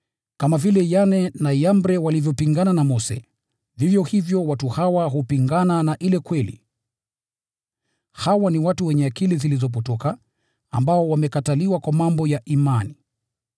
Kama vile Yane na Yambre walivyopingana na Mose, vivyo hivyo watu hawa hupingana na ile kweli. Hawa ni watu wenye akili zilizopotoka, ambao wamekataliwa kwa mambo ya imani.